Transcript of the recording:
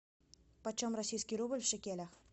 почем российский рубль в шекелях